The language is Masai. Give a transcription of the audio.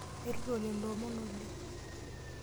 Airuto lelo omon oleng.